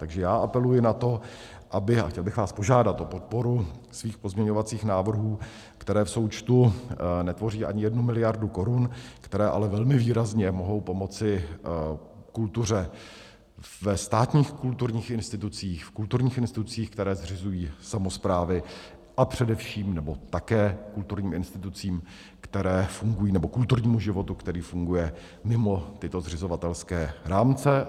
Takže já apeluji na to, aby - a chtěl bych vás požádat o podporu svých pozměňovacích návrhů, které v součtu netvoří ani jednu miliardu korun, které ale velmi výrazně mohou pomoci kultuře ve státních kulturních institucích, v kulturních institucích, které zřizují samosprávy, a především, nebo také, kulturním institucím, které fungují, nebo kulturnímu životu, který funguje mimo tyto zřizovatelské rámce.